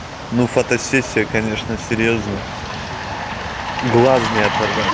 ну фото сессия конечно серьёзная глаз не оторвать